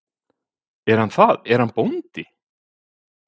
Er hann það, er hann bóndi?